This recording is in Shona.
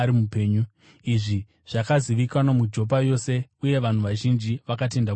Izvi zvakazivikanwa muJopa yose, uye vanhu vazhinji vakatenda kuna She.